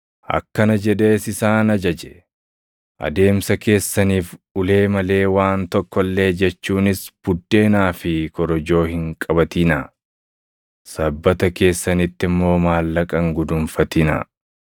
Akkana jedhees isaan ajaje: “Adeemsa keessaniif ulee malee waan tokko illee jechuunis buddeenaa fi korojoo hin qabatinaa; sabbata keessanitti immoo maallaqa hin guduunfatinaa.